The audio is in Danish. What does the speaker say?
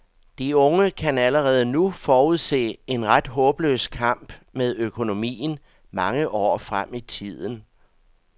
De unge kan allerede nu forudse en ret håbløs kamp med økonomien mange år frem i tiden.